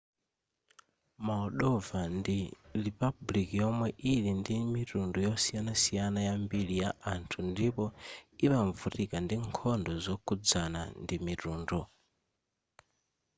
moldova ndi ripabuliki yomwe ili ndi mitundu yosiyanasiyana yambiri ya anthu ndipo imavutika ndi nkhondo zokhuzana ndimitundu